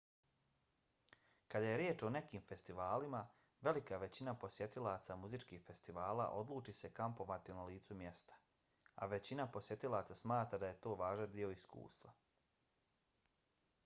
kad je riječ o nekim festivalima velika većina posjetilaca muzičkih festivala odluči se kampovati na licu mjesta a većina posjetilaca smatra da je to važan dio iskustva